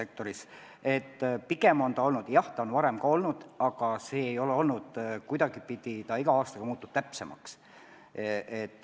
Või õigemini on see, jah, ka varem sees olnud, aga iga aastaga muutub info täpsemaks.